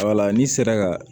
Wala n'i sera ka